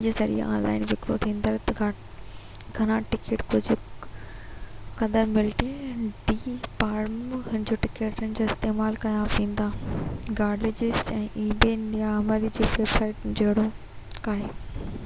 نيلامي جي ويب سائيٽن جهڙوڪ ebay يا craigslist جي ذريعي آن لائن وڪرو ٿيندڙ گهڻا ٽڪيٽ ڪجهہ قدر ملٽي-ڊي پارڪ-هوپر ٽڪيٽن جي لاءِ استعمال ڪيا ويندا آهن